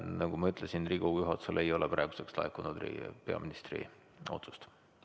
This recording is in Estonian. Nagu ma ütlesin, Riigikogu juhatusele ei ole praeguseks laekunud peaministri otsust.